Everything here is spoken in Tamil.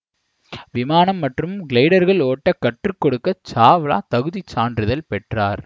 விமானம் மற்றும் கிளைடேர்கள் ஓட்ட கற்று கொடுக்க சாவ்லா தகுதிச் சான்றிதழ் பெற்றார்